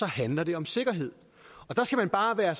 handler det om sikkerhed og der skal man bare være